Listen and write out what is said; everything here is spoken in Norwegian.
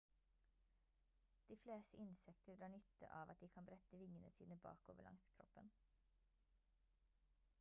de fleste insekter drar nytte av at de kan brette vingene sine bakover langs kroppen